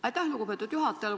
Aitäh, lugupeetud juhataja!